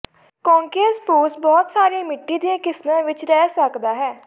ਕੌਕਸੀਅਸ spruce ਬਹੁਤ ਸਾਰੀਆਂ ਮਿੱਟੀ ਦੀਆਂ ਕਿਸਮਾਂ ਵਿੱਚ ਰਹਿ ਸਕਦਾ ਹੈ